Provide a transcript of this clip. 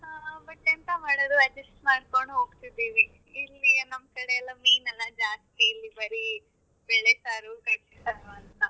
ಹಾ ಹಾ but ಎಂತ ಮಾಡೂದು adjust ಮಾಡ್ಕೊಂಡು ಹೋಗ್ತಿದೀವಿ. ಇಲ್ಲಿ ನಮ್ ಕಡೆಯಲ್ಲ ಮೀನ್ ಎಲ್ಲ ಜಾಸ್ತಿ ಇಲ್ಲಿ ಬರೀ ಬೇಳೆ ಸಾರು ಕಡ್ಲೆ ಸಾರು ಅಂತ.